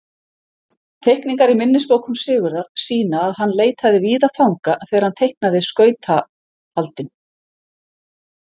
Teikningar í minnisbókum Sigurðar sýna að hann leitaði víða fanga þegar hann teiknaði skautafaldinn.